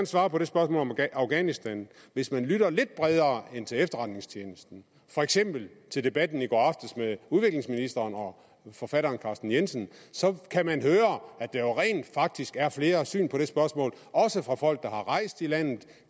svare på det spørgsmål om afghanistan hvis man lytter lidt bredere end til efterretningstjenesten for eksempel til debatten i går aftes med udviklingsministeren og forfatteren carsten jensen kan man høre at der rent faktisk er flere syn på de spørgsmål også fra folk der har rejst i landet der